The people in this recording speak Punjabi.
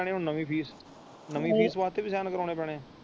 ਨਵੀ ਫੀਸ ਨਵੀ ਫੀਸ ਵਾਸਤੇ ਵੀ ਕਰਾਉਣੇ ਪੈਣੇ ਹੈ।